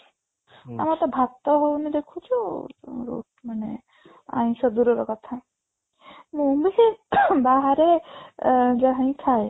ଆମର ତ ଭାତ ହଉନି ଦେଖୁଛୁ ମାନେ ଆଇଁଷ ଦୂରର କଥା ମୁଁ ବି ସେଇ ବାହାରେ ଏଁ ଯାହା ହିଁ ଖାଏ